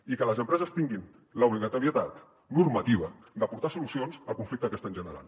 i que les empreses tinguin l’obligatorietat normativa d’aportar solucions al conflicte que estan generant